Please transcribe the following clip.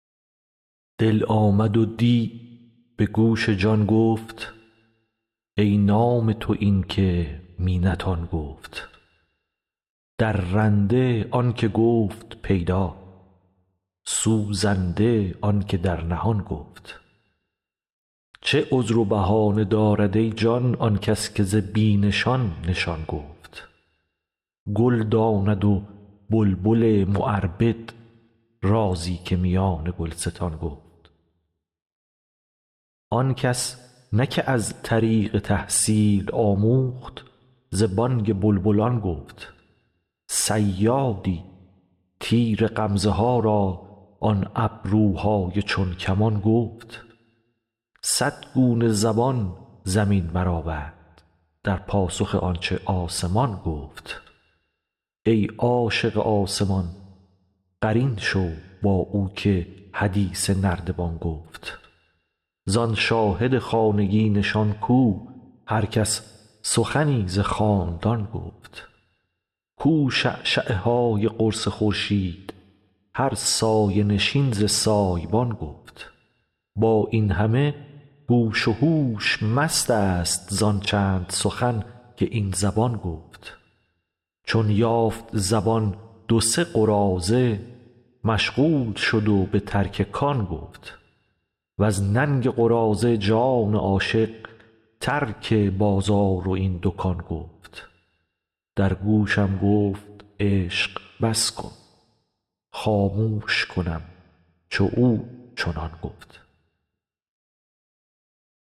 دل آمد و دی به گوش جان گفت ای نام تو این که می نتان گفت درنده آنک گفت پیدا سوزنده آنک در نهان گفت چه عذر و بهانه دارد ای جان آن کس که ز بی نشان نشان گفت گل داند و بلبل معربد رازی که میان گلستان گفت آن کس نه که از طریق تحصیل آموخت ز بانگ بلبلان گفت صیادی تیر غمزه ها را آن ابروهای چون کمان گفت صد گونه زبان زمین برآورد در پاسخ آن چه آسمان گفت ای عاشق آسمان قرین شو با او که حدیث نردبان گفت زان شاهد خانگی نشان کو هر کس سخنی ز خاندان گفت کو شعشعه های قرص خورشید هر سایه نشین ز سایه بان گفت با این همه گوش و هوش مستست زان چند سخن که این زبان گفت چون یافت زبان دو سه قراضه مشغول شد و به ترک کان گفت وز ننگ قراضه جان عاشق ترک بازار و این دکان گفت در گوشم گفت عشق بس کن خاموش کنم چو او چنان گفت